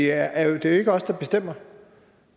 er jo ikke os der bestemmer